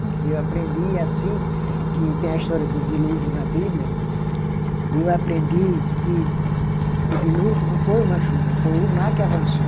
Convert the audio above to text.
E eu aprendi assim, que tem a história do dilúvio na Bíblia, e eu aprendi que o dilúvio não foi uma chuva, foi o mar que avançou.